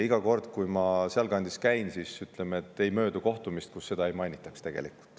Iga kord, kui ma sealkandis käin, ei möödu kohtumist, kus seda ei mainitaks.